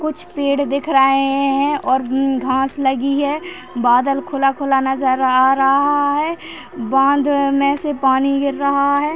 कुछ पेड़ दिख रहे है और घास लगी है और बादल खुला-खुला नज़र आ रहा है बांध मे से पानी गिर रहा है।